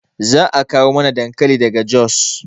Za a kawo mana dankali daga jos